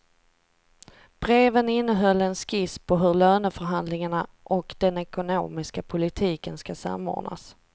Breven innehöll en skiss på hur löneförhandlingarna och den ekonomiska politiken ska samordnas.